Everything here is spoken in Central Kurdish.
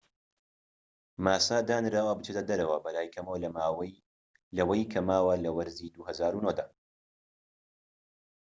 ماسا دانراوە بچێتە دەرەوە بەلای کەمەوە لەوەی کە ماوە لە وەرزی ٢٠٠٩ دا